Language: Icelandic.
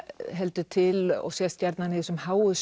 heldur til og sést gjarnan í þessum háu